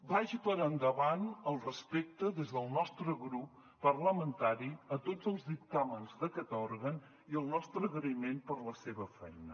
vagi per endavant el respecte des del nostre grup parlamentari a tots els dictàmens d’aquest òrgan i el nostre agraïment per la seva feina